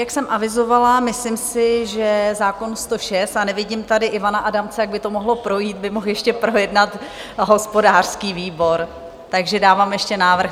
Jak jsem avizovala, myslím si, že zákon 106 - a nevidím tady Ivana Adamce, tak by to mohlo projít - by mohl ještě projednat hospodářský výbor, takže dávám ještě návrh.